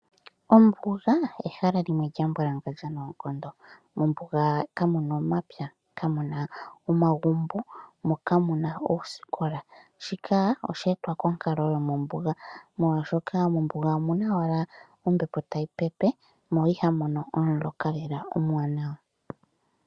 Ombuga ehala limwe lya mbwalangandja noonkondo. Mombuga ka mu na omapya, kamuna omagumbo mo ka muna oosikola shika oshe etwa konkalo yo mombuga molwaashoka mombuga omuna owala ombepo ta yi pepe mo iha mu mono omuloka lela omuwanawa.